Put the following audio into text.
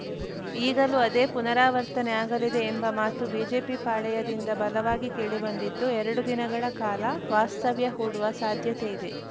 ಈಗಲೂ ಅದೇ ಪುನರಾವರ್ತನೆ ಆಗಲಿದೆ ಎಂಬ ಮಾತು ಬಿಜೆಪಿ ಪಾಳೆಯದಿಂದ ಬಲವಾಗಿ ಕೇಳಿಬಂದಿದ್ದು ಎರಡು ದಿನಗಳ ಕಾಲ ವಾಸ್ತವ್ಯ ಹೂಡುವ ಸಾಧ್ಯತೆಯಿದೆ